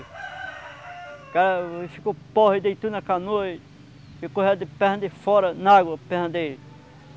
O cara ficou porre, deitou na canoa e e correu de perna de fora, na água, perna dele.